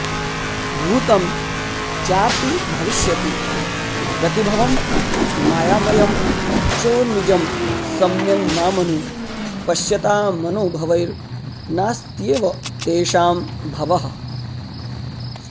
भूतं चापि भविष्यति प्रतिभवं मायामयं चोर्मिजं सम्यङ् मामनुपश्यतामनुभवैर्नास्त्येव तेषां भवः